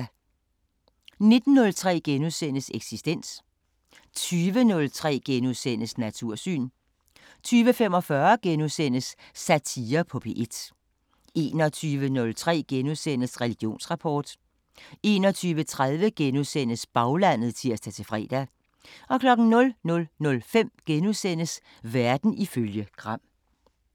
19:03: Eksistens * 20:03: Natursyn * 20:45: Satire på P1 * 21:03: Religionsrapport 21:30: Baglandet *(tir-fre) 00:05: Verden ifølge Gram *